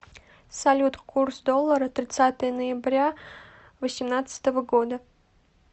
салют курс доллара тридцатое ноября восемнадцатого года